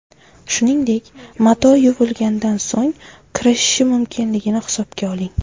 Shuningdek, mato yuvilgandan so‘ng kirishishi mumkinligini hisobga oling.